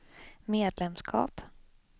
medlemskap